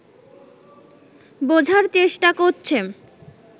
বোঝার চেষ্টা করছে